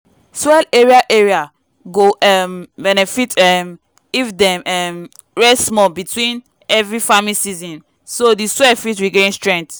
soil area area go um benefit um if dem um rest small between heavy farming season so di soil fit regain strength